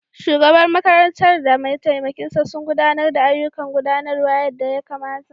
Shugaban makarantar da mataimakinsa sun gudanar da ayyukan gudanarwa yadda ya kamata.